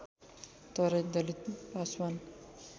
Terai Dalit Paswan